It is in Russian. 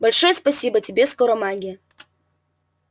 большое спасибо тебе скоромагия